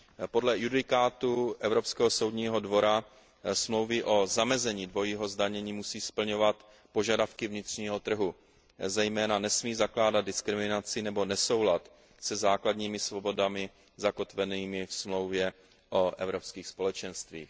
Podle judikatury Evropského soudního dvora musí smlouvy o zamezení dvojího zdanění splňovat požadavky vnitřního trhu, zejména nesmí zakládat diskriminaci nebo nesoulad se základními svobodami zakotvenými ve Smlouvě o Evropských společenstvích.